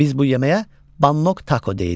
Biz bu yeməyə bannok tako deyirik.